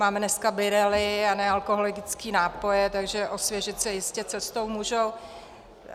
Máme dneska birelly a nealkoholické nápoje, takže osvěžit se jistě cestou můžou.